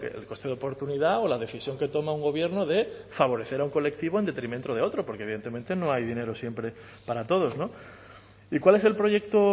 el coste de oportunidad o la decisión que toma un gobierno de favorecer a un colectivo en detrimento de otro porque evidentemente no hay dinero siempre para todos y cuál es el proyecto